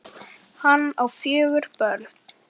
Hann á fjögur börn.